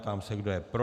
Ptám se, kdo je pro.